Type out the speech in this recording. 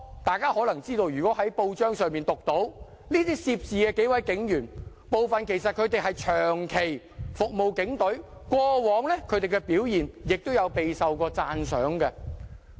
大家看過報章報道，可能知道這些涉事警員中有幾名其實長期服務警隊，過往的表現亦備受讚賞。